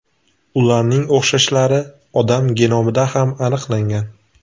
Ularning o‘xshashlari odam genomida ham aniqlangan.